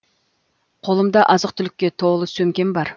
қолымда азық түлікке толы сөмкем бар